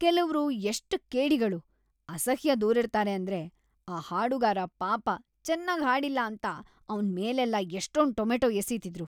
ಕೆಲವ್ರು ಎಷ್ಟ್‌ ಕೇಡಿಗಳು, ಅಸಹ್ಯದೋರಿರ್ತಾರೆ ಅಂದ್ರೆ ಆ ಹಾಡುಗಾರ ಪಾಪ ಚೆನ್ನಾಗ್ ಹಾಡ್ಲಿಲ್ಲ ಅಂತ ಅವ್ನ್‌ ಮೇಲೆಲ್ಲ ಎಷ್ಟೊಂದ್ ಟೊಮೆಟೊ ಎಸೀತಿದ್ರು.